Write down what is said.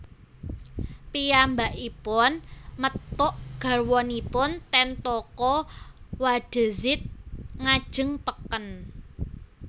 Piyambakipun methuk garwanipun ten toko Wadezid ngajeng peken